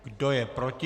Kdo je proti?